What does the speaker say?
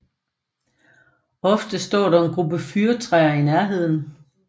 Ofte står der en gruppe fyrretræer i nærheden